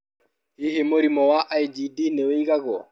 Hihi mũrimũ wa IgD nĩ ũigagwo?